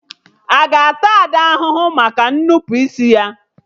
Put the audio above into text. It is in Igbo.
Aga ata Ada ahụhụ maka nnupụisi ya?